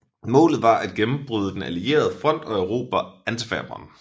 Målet var at gennembryde den allierede front og erobre Antwerpen